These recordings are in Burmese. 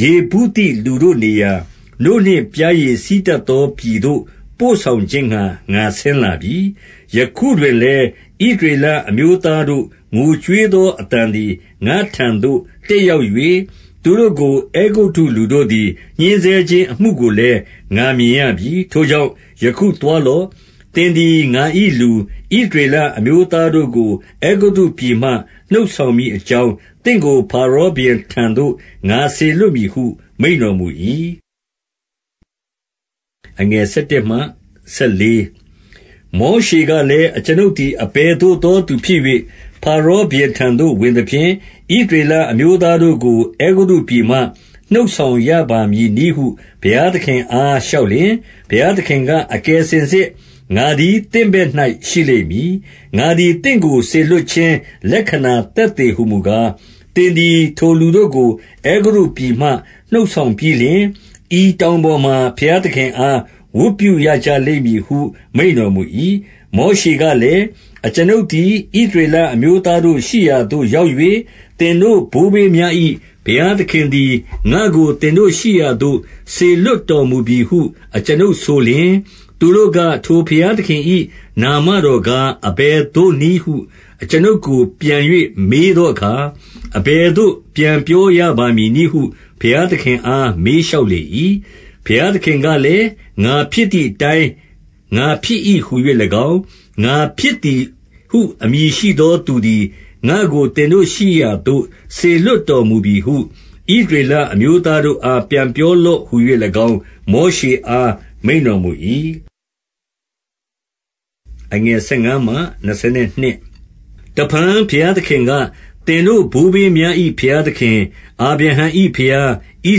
ယေဗုသိလူတို့နေရာ၊ နို့နှင့်ပျားရည် စီးတတ်သော ပြည်သို့ ပို့ဆောင်ခြင်းငှါ ငါဆင်းလာပြီ။ 9 ယခုတွင်လည်း ဣသရေလအမျိုးသားတို့ ငိုကြွေးသောအသံသည် ငါ့ထံသို့ တက်ရောက်၍၊ သူတို့ကို အဲဂုတ္တုလူတို့သည် ညှဉ်းဆဲခြင်းအမှုကိုလည်း ငါမြင်ရပြီ။ 10 ထိုကြောင့် ယခုသွားလော့။ သင်သည် ငါ၏လူ ဣသရေလအမျိုးသားတို့ကို အဲဂုတ္တုပြည်မှ နှုတ်ဆောင် မည်အကြောင်း၊ သင့်ကိုဖါရောဘုရင်ထံသို့ ငါစေလွှတ်မည်ဟု မိန့်တော်မူ၏။ 11 မောရှေကလည်း၊ အကျွန်ုပ်သည် အဘယ်သို့သောသူဖြစ်၍၊ ဖါရောဘုရင်ထံသို့ ဝင်သဖြင့်၊ ဣသရေလ အမျိုးသားတို့ကို အဲဂုတ္တုပြည်မှ နှုတ်ဆောင်ရပါမည်နည်းဟု ဘုရားသခင်အား လျှောက်လျှင်၊ 12 ဘုရားသခင်က၊ အကယ်စင်စစ် ငါသည် သင့်ဘက်၌ရှိလိမ့်မည်။ ငါသည် သင့်ကိုစေလွှတ်ခြင်း လက္ခဏာသက်သေဟူမူကား၊ သင်သည်ထို လူတို့ကို အဲဂုတ္တုပြည်မှ နှုတ်ဆောင်ပြီးလျှင်၊ ဤတောင်ပေါ်မှာ ဘုရားသခင်အား ဝတ်ပြုရကြလိမ့်မည်ဟု မိန့်တော်မူ၏။ 13 မောရှေကလည်း၊ အကျွန်ုပ်သည် ဣသရေလအမျိုးသားတို့ ရှိရာသို့ရောက်၍၊ သင်တို့ဘိုးဘေးများ၏ ဘုရားသခင်သည် ငါ့ကိုသင်တို့ ရှိရာသို့ စေလွှတ်တော်မူပြီဟု အကျွန်ုပ်ဆိုလျှင်၊ သူတို့က၊ ထိုဘုရားသခင်၏ နာမတော်ကား အဘယ်သို့နည်းဟု အကျွန်ုပ်ကိုပြန်၍ မေးသောအခါ၊ အဘယ်သို့ပြန်ပြောရပါမည်နည်းဟု ဘုရားသခင်အားမေးလျှောက်လေ၏။ 14 ဘုရားသခင်ကလည်း၊ ငါဖြစ်သည်အတိုင်း ငါဖြစ်၏ဟူ၍၎င်း၊ ငါဖြစ်သည်ဟု အမည်ရှိသောသူသည်၊ ငါ့ကိုသင်တို့ရှိရာသို့ စေလွှတ်တော်မူပြီဟု ဣသရေလအမျိုးသားတို့အား ပြန်ပြောလော့ဟူ၍၎င်း၊ မောရှေ အားမိန့်တော်မူ၏။ 15 တဖန်ဘုရားသခင်က၊ သင်တို့ဘိုးဘေးများ၏ ဘုရားသခင်၊ အာဗြဟံ၏ဘုရား၊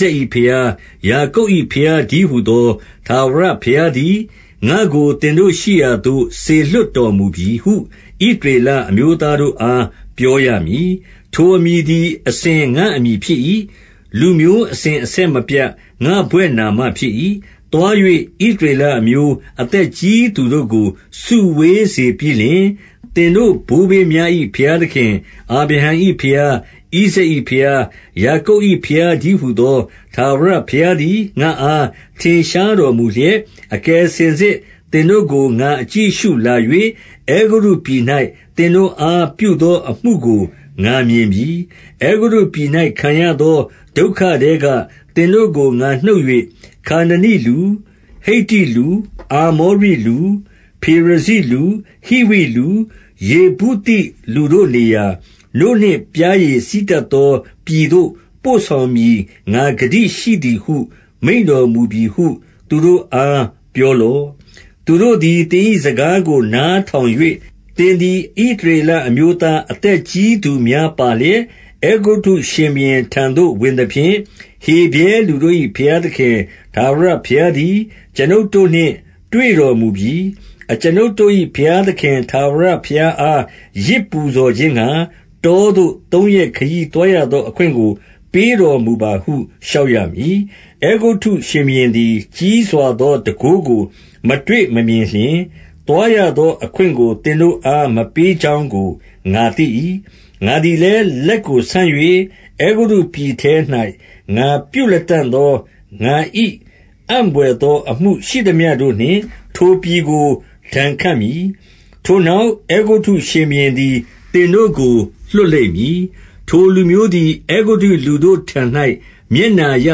ဣဇာက်၏ဘုရား၊ ယာကုပ်၏ဘုရားတည်းဟူသော ထာဝရဘုရားသည်၊ ငါ့ကို သင်တို့ရှိရာသို့ စေလွှတ်တော်မူပြီဟု ဣသရေလ အမျိုးသားတို့အား ပြောရမည်။ ထိုအမည်သည် အစဉ် ငါ့အမည်ဖြစ်၏။ လူမျိုးအစဉ်အဆက်မပြတ် ငါ့ဘွဲ့နာမ ဖြစ်၏။ 16 သွား၍ဣသရေလအမျိုးအသက်ကြီးသူတို့ကို စုဝေးစေပြီးလျှင်၊ သင်တို့ဘိုးဘေးများ၏ ဘုရားသခင်၊ အာဗြဟံ၏ဘုရား၊ ဣဇာက်၏ဘုရား၊ ယာကုပ်၏ဘုရားတည်းဟူသော ထာဝရဘုရားသည် ငါ့အားထင်ရှားတော် မူလျက်၊ အကယ်စင်စစ် သင်တို့ကို ငါအကြည့်အရှုလာ၍၊ အဲဂုတ္တုပြည်၌ သင်တို့အားပြုသောအမှုကို ငါမြင်ပြီ။ 17 အဲဂုတ္တုပြည်၌ ခံရသောဒုက္ခထဲက သင်တို့ကို ငါနှုတ်၍၊ ခါနနိလူ၊ ဟိတ္တလူ၊ အာမောရိလူ၊ ဖေရဇိလူ၊ ဟိဝိလူ၊ ယေဗုသိလူတို့နေရာ၊ နို့နှင့်ပျားရည်စီးတတ်သော ပြည်သို့ပို့ဆောင်မည် ငါဂတိရှိသည်ဟု မိန့်တော်မူပြီဟု သူတို့အား ပြောလော့။ 18 သူတို့သည် သင်၏စကားကိုနားထောင်၍၊ သင်သည် ဣသရေလအမျိုးသား အသက်ကြီးသူများပါလျက်၊ အဲဂုတ္တုရှင်ဘုရင်ထံသို့ဝင်သဖြင့်၊ ဟေဗြဲလူတို့၏ ဘုရားသခင် ထာဝရဘုရားသည် အကျွန်ုပ်တို့နှင့်တွေ့တော်မူ ပြီ။ အကျွန်ုပ်တို့၏ဘုရားသခင် ထာဝရဘုရားအား ယဇ်ပူဇော်ခြင်းငှါ တောသို့ သုံးရက်ခရီးသွားရသော အခွင့်ကို ပေးတော်မူပါဟု လျှောက်ရမည်။ 19 အဲဂုတ္တုရှင်ဘုရင်သည် ကြီးစွာသောတန်ခိုးကို မတွေ့မမြင်လျှင်၊ သွားရသော အခွင့်ကို သင်တို့အား မပေးကြောင်းကို ငါသိ၏။ 20 ငါသည်လည်း လက်ကိုဆန်၍၊ အဲဂုတ္တုပြည်ထဲ၌ ငါပြုလတံ့သော ငါ၏အံ့ဘွယ်သောအမှုရှိသမျှတို့နှင့် ထိုပြည်ကို ဒဏ်ခတ်မည်။ ထိုနောက် အဲဂုတ္တုရှင်ဘုရင်သည် သင်တို့ကို လွှတ်လိမ့်မည်။ 21 ထိုလူမျိုးသည် အဲဂုတ္တုလူတို့ထံ၌ မျက်နှာရ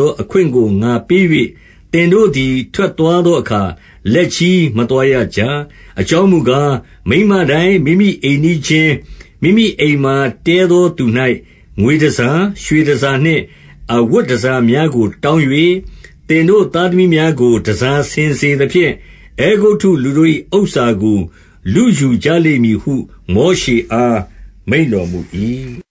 သော အခွင့်ကို ငါပေး၍၊ သင်တို့သည် ထွက်သွားသောအခါ လက်ချည်း မသွားရကြ။ 22 အကြောင်းမူကား၊ မိန်းမတိုင်းမိမိအိမ်နီးချင်း၊ မိမိအိမ်မှာ တည်းသောသူ၌ ငွေတန်ဆာ၊ ရွှေတန်ဆာနှင့် အဝတ်တန်ဆာများကို တောင်း၍၊ သင်တို့သားသမီးများကို တန်ဆာဆင်စေသဖြင့်၊ အဲဂုတ္တုလူတို့၏ဥစ္စာကို လုယူ ကြလိမ့်မည်ဟု မောရှေအား မိန့်တော်မူ၏။